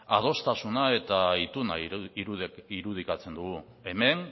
adostasuna eta ituna irudikatzen dugu hemen